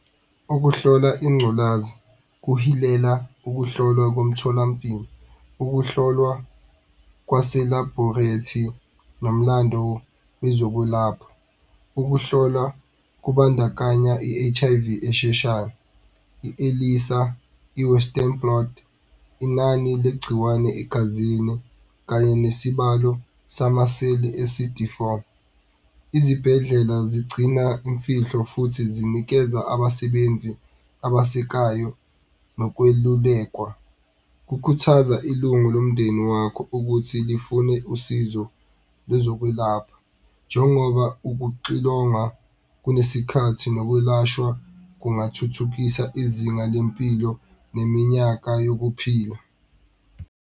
Ukuhlola ingculazi kuhilela ukuhlolwa komtholampilo, ukuhlolwa kwase labhorethi nomlando wezokwelapha. Ukuhlolwa kubandakanya i-H_I_V esheshayo i-ELISA i-Western plot, inani legciwane egazini kanye nesibalo samaseli e-C_D four. Izibhedlela zigcina imfihlo futhi zinikeza abasebenzi abasekayo nokwelulekwa. Kukhuthaza ilungu lomndeni wakho ukuthi lifune usizo lwezokwelapha njengoba ukuxilongwa kunesikhathi nokwelashwa kungathuthukisa izinga lempilo neminyaka yokuphila.